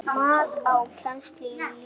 Mat á kennslu í listum